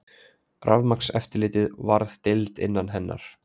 Rafmagnseftirlitið varð deild innan hennar.